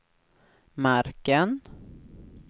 marken